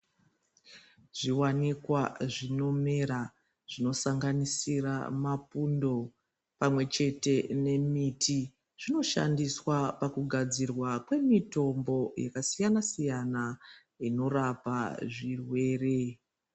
Zviwanikwa zvinomera zvinosanganisira mapundo pamwechete nemiti zvinoshandiswa pakugadzirwa kwemitombo yakasiyana siyana inorapa zvirwere.